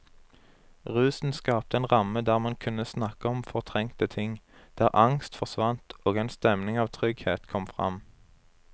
Rusen skapte en ramme der man kunne snakke om fortrengte ting, der angst forsvant og en stemning av trygghet kom fram.